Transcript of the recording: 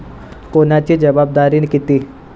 कोणाची जबाबदारी किती